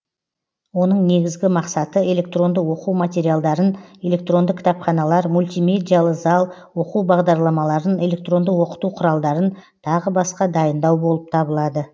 оның негізгі мақсаты электронды оқу материалдарын электронды кітапханалар мультимедиалы зал оқу бағдарламаларын электронды оқыту құралдарын тағы басқа дайындау болып табылады